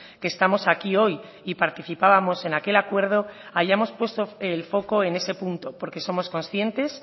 que estamos aquí hoy y participábamos en aquel acuerdo hayamos puesto el foco en ese punto porque somos conscientes